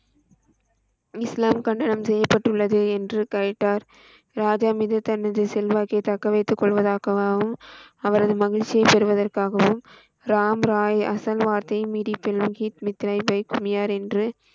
இஸ்லாம் கன்னடம் செய்யப்பட்டுள்ளது என்று கையிட்டார், ராஜா மீது தனது செல்வாக்கை தக்க வைத்து கொள்வதாகவும், அவரது மகிழ்ச்சியை பெருவதர்காகவும், ராம் ராய் அசல் வார்த்தை மீறிப் பெல்கி முத்திரை வை குமியார் என்று,